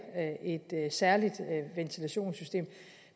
et særligt ventilationssystem